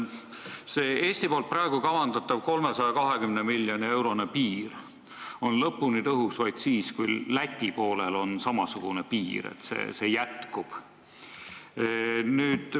See Eestis praegu kavandatav 320 miljoni eurone piir on lõpuni tõhus vaid siis, kui Läti poolel on samasugune piir, kui selline piir jätkub.